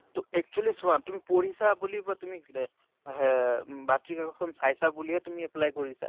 তʼ actually চোৱা তুমি পঢ়িছা বুলি বা তুমি গ্ৰে হে বাতৰি কাগজ খন চাইছা বুলি হে তুমি apply কৰিছা ।